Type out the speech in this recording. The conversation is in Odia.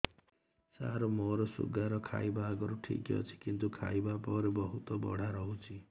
ସାର ମୋର ଶୁଗାର ଖାଇବା ଆଗରୁ ଠିକ ଅଛି କିନ୍ତୁ ଖାଇବା ପରେ ବହୁତ ବଢ଼ା ରହୁଛି